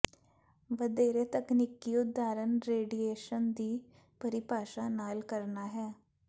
ਵਧੇਰੇ ਤਕਨੀਕੀ ਉਦਾਹਰਨ ਰੇਡੀਏਸ਼ਨ ਦੀ ਪਰਿਭਾਸ਼ਾ ਨਾਲ ਕਰਨਾ ਹੈ